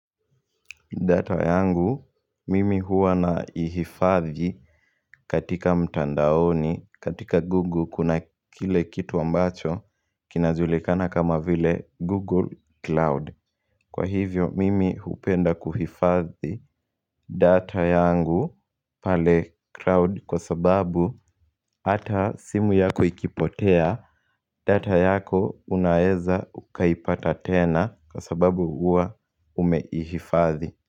Data yangu mimi huwa na ihifadhi katika mtandaoni katika Google kuna kile kitu ambacho kinajulikana kama vile Google Cloud Kwa hivyo mimi upenda kuhifadhi data yangu pale cloud kwa sababu hata simu yako ikipotea data yako unaeza ukaipata tena kwa sababu huwa ume ihifadhi.